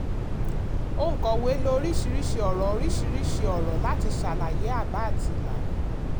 òǹkọ̀wé lò oríṣiríṣi ọ̀rọ̀ oríṣiríṣi ọ̀rọ̀ láti ṣàlàyé àbá àti ìlànà.